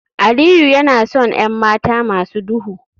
Aliyu yana son 'yan mata masu duhu